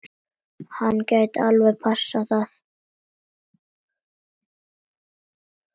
Hann gæti alveg passað það.